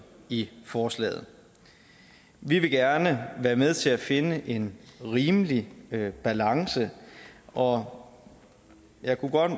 i forslaget vi vil gerne være med til at finde en rimelig balance og jeg kunne godt